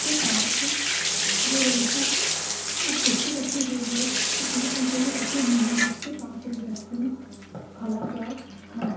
के पास हरे रंग की एक कुर्सी रखी हुई है इसमें ईंटे भी रखी हुई हैं जिस के पास एक व्यक्ति खड़ा हुआ है।